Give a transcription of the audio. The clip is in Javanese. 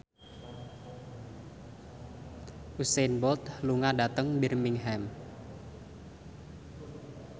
Usain Bolt lunga dhateng Birmingham